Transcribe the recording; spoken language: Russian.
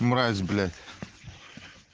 мразь блять